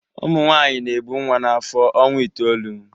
Ụmụ nwanyị na-ebu nwa n'afọ ọnwa itoolu